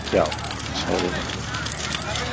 Já, sagði maðurinn.